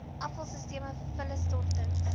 afval sisteme vullisstortings